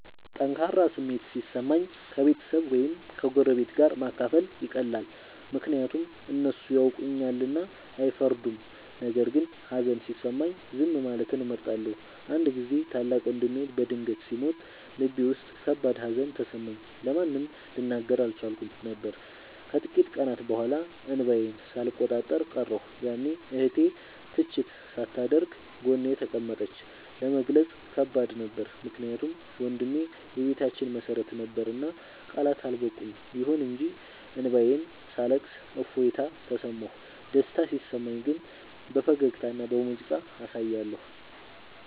ጠንካራ ስሜት ሲሰማኝ ከቤተሰብ ወይም ከጎረቤት ጋር ማካፈል ይቀላል፤ ምክንያቱም እነሱ ያውቁኛልና አይፈርዱም። ነገር ግን ሀዘን ሲሰማኝ ዝም ማለትን እመርጣለሁ። አንድ ጊዜ ታላቅ ወንድሜ በድንገት ሲሞት ልቤ ውስጥ ከባድ ሀዘን ተሰማኝ፤ ለማንም ልናገር አልቻልኩም ነበር። ከጥቂት ቀናት በኋላ እንባዬን ሳልቆጣጠር ቀረሁ፤ ያኔ እህቴ ትችት ሳታደርግ ጎኔ ተቀመጠች። ለመግለጽ ከባድ ነበር ምክንያቱም ወንድሜ የቤታችን መሰረት ነበርና ቃላት አልበቁም። ይሁን እንጂ እንባዬን ሳለቅስ እፎይታ ተሰማሁ። ደስታ ሲሰማኝ ግን በፈገግታና በሙዚቃ አሳያለሁ።